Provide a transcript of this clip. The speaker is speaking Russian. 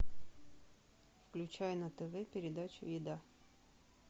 включай на тв передачу еда